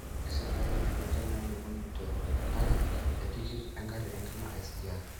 Isitayioki ilchainai okuni teropare etikit engari enkima. SGR